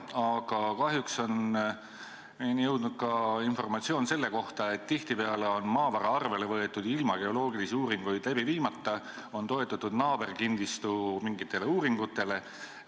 Aga kahjuks on meie kätte jõudnud ka informatsioon, et tihtipeale on maavara arvele võetud ilma geoloogilisi uuringuid tegemata, on toetutud mingitele naaberkinnistu uuringutele.